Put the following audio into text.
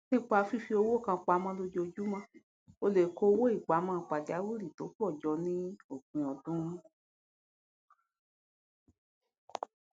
nípa fífi owó kan pamọ lójoojúmọ ó lè kó owó ìpamọ pajawírí tó pọ jọ ní òpin ọdún